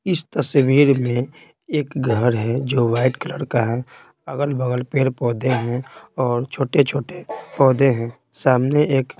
इस तस्वीर में एक घर हैजो वाइट कलर का है अगल-बगल पेड़-पौधे हैंऔर छोटे-छोटे पौधे हैं सामने एक--